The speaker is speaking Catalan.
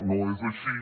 no és així